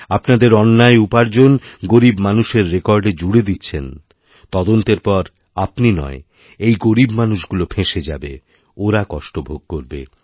আপনাদের অন্যায় উপার্জন গরীব মানুষের রেকর্ডে জুড়েদিচ্ছেন তদন্তের পর আপনি নয় এই গরীব মানুষগুলো ফেঁসে যাবে ওরা কষ্ট ভোগ করবে